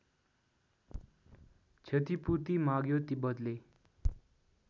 क्षतिपूर्ति माग्यो तिब्बतले